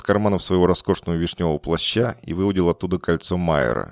карманов своего роскошного вишнёвого плаща и выудил оттуда кольцо маера